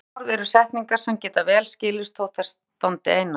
Fleyg orð eru setningar sem geta vel skilist þótt þær standi einar.